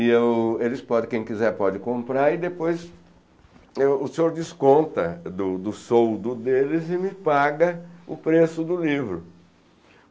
E eu eles podem, quem quiser pode comprar e depois o senhor desconta do do soldo deles e me paga o preço do livro.